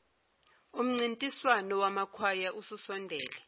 umncintiswano wamakwaya ususondele